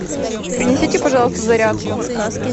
принесите пожалуйста зарядку